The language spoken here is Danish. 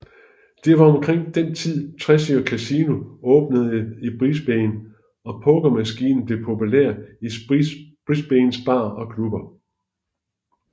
Det var omkring den tid Treasury Casino åbnede i Brisbane og pokermaskiner blev populære i Brisbanes barer og klubber